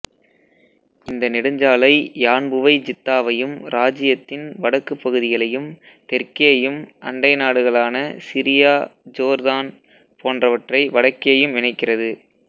இந்த நெடுஞ்சாலை யான்புவை ஜித்தாவையும் ராஜ்யத்தின் வடக்கு பகுதிகளையும் தெற்கேயும் அண்டை நாடுகளான சிரியா ஜோர்தான் போன்றவற்றை வடக்கேயும் இணைக்கிறது